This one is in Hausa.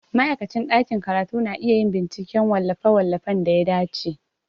Ma'aikacin ɗakin karatu na iya yin binciken wallafe-wallafen da ya dace.